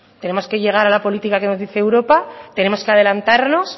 tenemos que llegar a la política que nos dice europa tenemos que adelantarnos